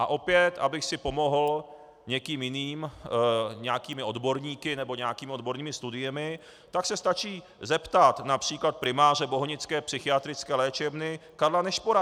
A opět, abych si pomohl někým jiným, nějakými odborníky nebo nějakými odbornými studiemi, tak se stačí zeptat například primáře bohnické psychiatrické léčebny Karla Nešpora.